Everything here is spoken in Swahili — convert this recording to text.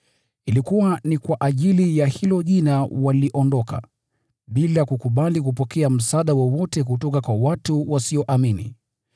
Ilikuwa ni kwa ajili ya hilo Jina waliondoka, bila kukubali kupokea msaada wowote kutoka kwa watu wasioamini.